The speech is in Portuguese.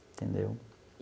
Entendeu?